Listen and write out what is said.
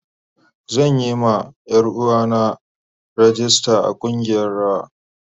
Zan yi ma Yaruwa na rag ista a kungiyar rawa.